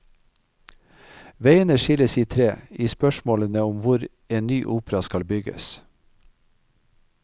Veiene skilles i tre i spørsmålene om og hvor en ny opera skal bygges.